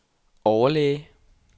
overlæge